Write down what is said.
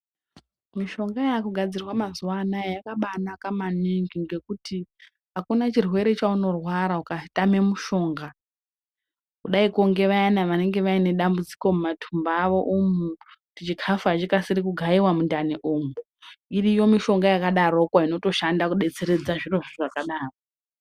Mishonga yakugadzirwa mazuwanaya yakabanaka maningi ngekuti akuna chirwere chaunorwara ukatame mushonga kudaiko ngevayana vanenge vaine dambudziko mumatumbu awo umu kuti chikafu achikasiri kugayiwa mundani umu iriyo mushonga yakadaroko inotoshanda kudetseredza zvirozvo zvakadaro.